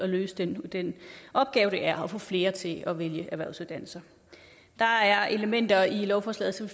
løse den den opgave det er at få flere til at vælge erhvervsuddannelser der er elementer i lovforslaget som